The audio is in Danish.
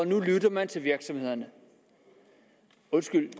nu lytter til virksomhederne undskyld